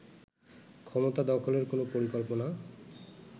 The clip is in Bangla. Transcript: ক্ষমতা দখলের কোন পরিকল্পনা